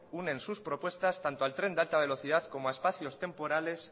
unen su propuestas tanto al tren de alta velocidad como a espacios temporales